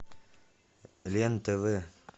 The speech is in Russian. лен тв